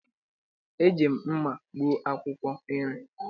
Eji m mma gbuo akwụkwọ nri.